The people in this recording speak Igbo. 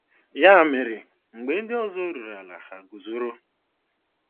Ya mere, mgbe ndị ọzọ ruru ala, ha guzoro.